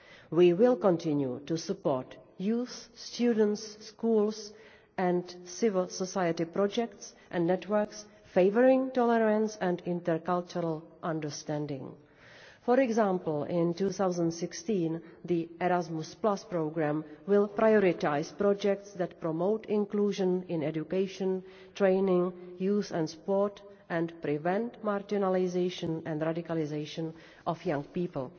We will continue to support youth, student, school and civil society projects and networks favouring tolerance and intercultural understanding. For example, in 2016 the Erasmus programme will prioritise projects that promote inclusion in education, training, youth and sport, and prevent marginalisation and the radicalisation of young